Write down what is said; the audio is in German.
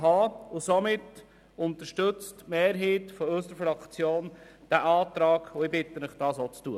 Daher unterstützt die Mehrheit unserer Fraktion diesen Antrag und ich bitte Sie, dasselbe zu tun.